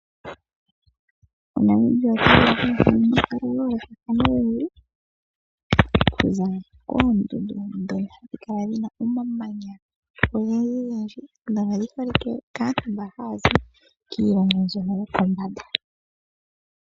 Namibia okuna wo omahala gayolokathana ogendji oku za koondundu dhono hadhi kala dhina omamanya ogendji gendji nodhi holike kaantu mbono haya zi mbyono yopombanda.